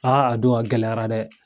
a don a gɛlɛyara dɛ.